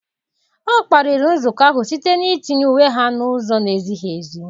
Ọ kparịrị nzukọ ahụ site n'itinye uwe ha n'ụzọ na-ezighi ezi.